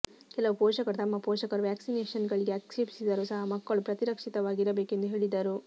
ಕೆಲವು ಪೋಷಕರು ತಮ್ಮ ಪೋಷಕರು ವ್ಯಾಕ್ಸಿನೇಷನ್ಗಳಿಗೆ ಆಕ್ಷೇಪಿಸಿದರೂ ಸಹ ಮಕ್ಕಳು ಪ್ರತಿರಕ್ಷಿತವಾಗಿರಬೇಕು ಎಂದು ಹೇಳಿದರು